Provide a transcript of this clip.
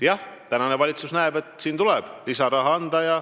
Jah, tänane valitsus näeb, et sinna tuleb lisaraha anda.